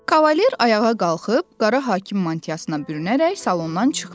Kavaler ayağa qalxıb qara hakim mantiyasına bürünərək salondan çıxdı.